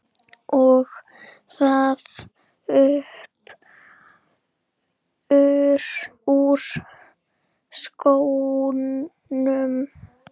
Og það upp úr skónum!